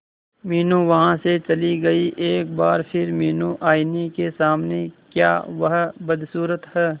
मीनू वहां से चली गई एक बार फिर मीनू आईने के सामने क्या वह बदसूरत है